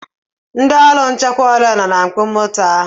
Ndị ọrụ nchekwa ole nọ na mkpọ moto ahụ?